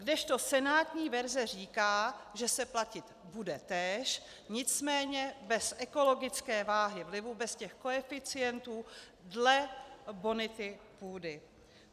Kdežto senátní verze říká, že se platit bude též, nicméně bez ekologické váhy vlivu, bez těch koeficientů dle bonity půdy.